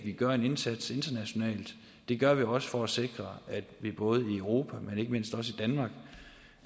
vi gør en indsats internationalt det gør vi også for at sikre at vi både i europa men ikke mindst